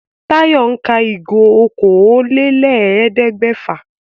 Táyọ̀ ń ka ìgò okòólélẹ́ẹ̀ẹ́dẹ́gbẹ́fà